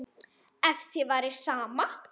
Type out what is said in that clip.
Ef þér væri sama.